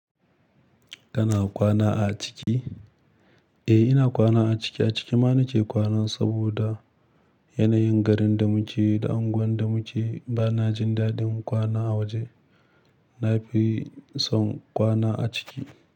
Kana kwana a ciki? Eh, ina kwana a ciki. A ciki ma na ke kwana saboda yanayin garin da muke da anguwan da muke ba na jin daɗin kwana a waje. Na fi son kwana a ciki.